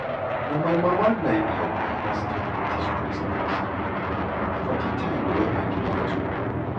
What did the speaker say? na my mama na him help me understand dis breast cancer mata for de time wey i dey battle am.